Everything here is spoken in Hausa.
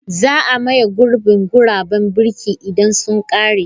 Za a maye gurbin guraben birki idan sun ƙare.